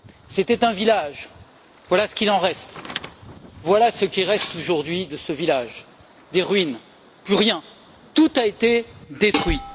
C'était un village, voilà ce qu'il en reste. Voilà ce qui reste aujourd'hui de ce village des ruines, plus rien, tout a été détruit.